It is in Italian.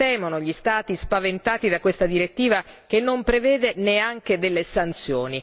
Cosa temono gli Stati spaventati da questa direttiva che non prevede neanche delle sanzioni?